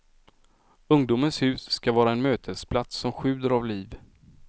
Ungdomens hus skall vara en mötesplats som sjuder av liv.